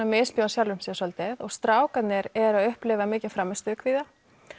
misbjóða sjálfum sér svolítið strákarnir eru að upplifa mikinn frammistöðu kvíða